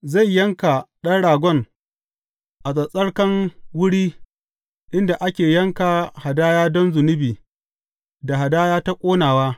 Zai yanka ɗan ragon a tsattsarkan wuri inda ake yanka hadaya don zunubi da hadaya ta ƙonawa.